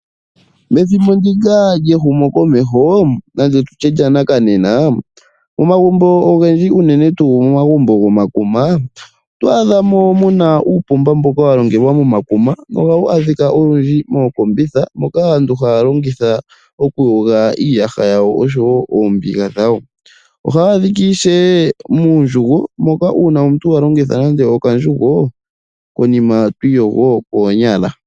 Methimbo ndika lye humokoneho ndande nditye lyanakanena oomagumbo ogendji uunene tuu momagumbo gomakuma oto adhamo muna uupomba mboka wa longelwa momakuma. Ohawu adhika olundji mookombitha moka aantu haya longitha oku yoga iiyaha oshowo oombiga dhawo. Ohaya adhika ishewe muundjugo moka una omuntu wa longitha nande okandjugo omuntu twi iyogo koonyala.